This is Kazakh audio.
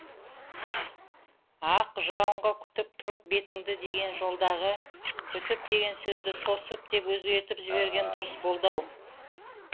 ақ жауынға күтіп тұрып бетіңді деген жолдағы күтіп деген сөзді тосып деп өзгертіп жіберген дұрыс болады ау